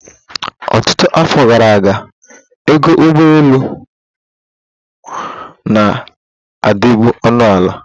Ọtụtụ afọ gara aga, ego ụgbọ ụgbọelu na-adịbu ọnụ ala.